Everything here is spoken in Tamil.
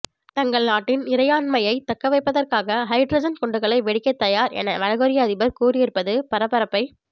தங்கள் நாட்டின் இறையாண்மையை தக்கவைப்பதற்காக ஹைட்ரஜன் குண்டுகளை வெடிக்க தயார் என வடகொரிய அதிபர் கூறியிருப்பது பரபரப்பை